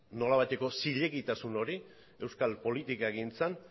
nolabaiteko zilegitasun hori euskal politikagintzan